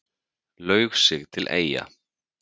Laug sig til Eyja